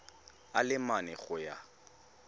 a le mane go ya